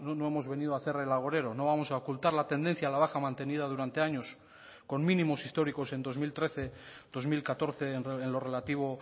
no hemos venido a hacer el agorero no vamos a ocultar la tendencia a la baja mantenida durante años con mínimos históricos en dos mil trece dos mil catorce en lo relativo